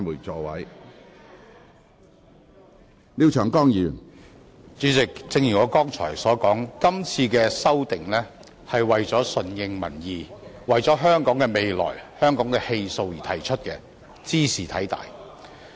主席，正如我剛才所說，今次的修訂是為了順應民意，為了香港的未來、香港的氣數而提出的，茲事體大。